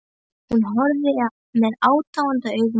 Hún horfði með aðdáun á Tóta.